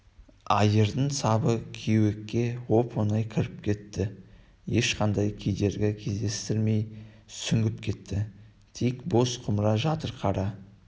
айырдың сабы кеуекке оп-оңай кіріп кетті ешқандай кедергі кездестірмей сүңгіп кетті тек бос құмыра жатыр қара